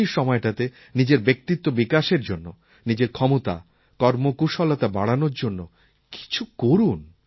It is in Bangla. ছুটির সময়টাতে নিজের ব্যক্তিত্ব বিকাশের জন্য নিজের ক্ষমতা কর্মকুশলতা বাড়ানোর জন্য কিছু করুন